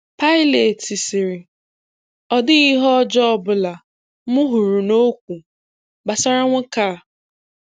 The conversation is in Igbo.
Pilat sịrị, “Ọ dịghị ihe ọjọọ ọ bụla m hụrụ n’okwu gbasara nwoke a.”